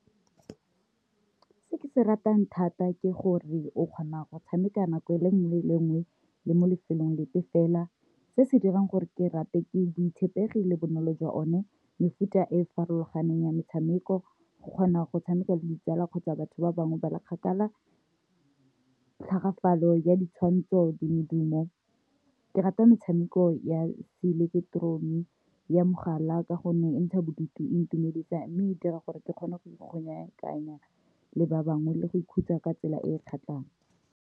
Se ke se ratang thata ke gore o kgona go tshameka nako e le nngwe le nngwe le mo lefelong lepe fela, se se dirang gore ke rate ke botshepegi le bonolo jwa one, mefuta e farologaneng ya metshameko, go kgona go tshameka le ditsala kgotsa batho ba bangwe ba le kgakala tlhagafalo ya ditshwantsho di modumo ke rata metshameko ya se ileketeroniki ya mogala ka gonne e ntsha bodutu intumedisa mme e dira gore ke kgone go ikgwanyetsa akanya le ba bangwe le go ikhutsa ka tsela e e kgatlhang.